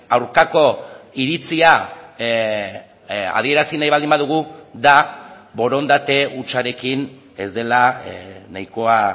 aurkako iritzia adierazi nahi baldin badugu da borondate hutsarekin ez dela nahikoa